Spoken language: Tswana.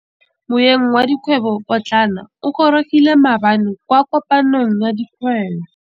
Moêng wa dikgwêbô pôtlana o gorogile maabane kwa kopanong ya dikgwêbô.